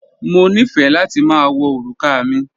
Mo nífẹ́ láti ma wọ orúkà mi